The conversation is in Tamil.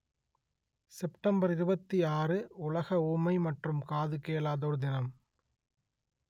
செப்டம்பர் இருபத்தி ஆறு உலக ஊமை மற்றும் காது கேளாதோர் தினம்